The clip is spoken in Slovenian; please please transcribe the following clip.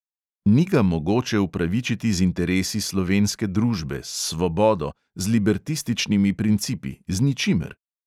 Ni ga mogoče upravičiti z interesi slovenske družbe, s svobodo, z libertističnimi principi, z ničimer.